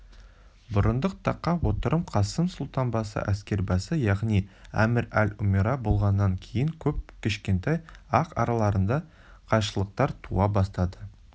бұрындық таққа отырып қасым сұлтан әскербасы яғни әмір-эль-умера болғаннан кейін көп кешікпей-ақ араларында қайшылықтар туа бастады